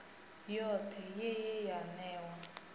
yothe ye ye ya newa